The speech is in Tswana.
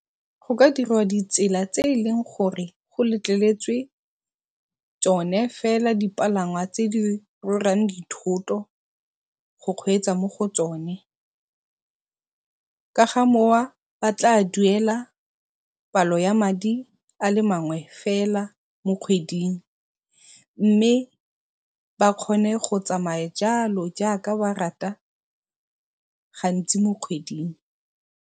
Go ka dirwa di tsela tse e leng gore di letleletswe tsone fela palangwa tse di rwalang dithoto go kgweetsa mo go tsone, ka ga ba tla duela palo ya madi a le mangwe fela mo kgweding mme ba kgone go tsamaya jalo jaaka ba rata gantsi mo kgweding.